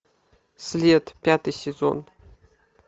след пятый сезон